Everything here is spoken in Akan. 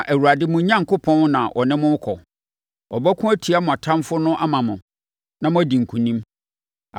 Na Awurade, mo Onyankopɔn, na ɔne mo rekɔ. Ɔbɛko atia mo atamfoɔ no ama mo, na moadi nkonim.”